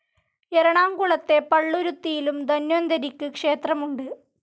എറണാകുളത്തെ പള്ളുരുത്തിയിലും ധന്വന്തരിക്ക് ക്ഷേത്രമുണ്ട്.